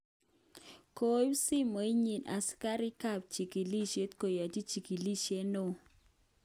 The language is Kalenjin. Kokiib simoit nyin asikarik kap chegelishet keyochi chegelishet neo.